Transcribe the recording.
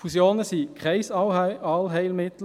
Fusionen sind kein Allheilmittel.